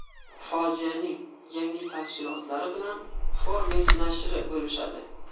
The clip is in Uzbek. Fojianing yangi tafsilotlari bilan Forbes nashri bo‘lishadi .